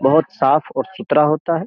बहुत साफ और सुतरा होता है।